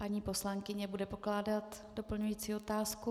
Paní poslankyně bude pokládat doplňující otázku.